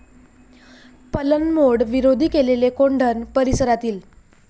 पलंमोड विरोधी केलेले कोंढण परिसरातील